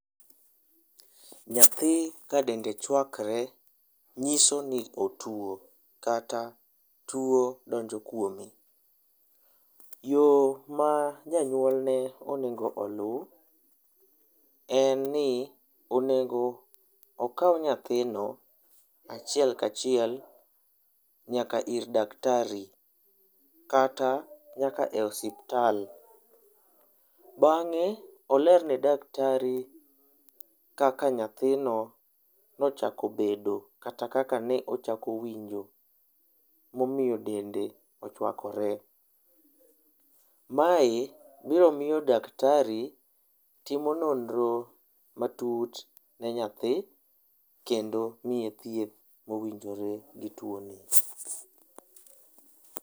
Nyathi ka dende chwakre nyiso ni otuo kata tuo donjo kuome. Yoo ma janyuol ne onego olu en ni onego okaw nyathino achiel kachiel nyaka ir daktari kata nyaka e osiptal ,bange olerne daktari kaka nyathino nochako bedo kata kaka ne ochako winjo momiyo dende ochwakore. Mae biro miyo daktari timo nonro matut ne nyathi kendo miye thieth mowinjore gi tuo ne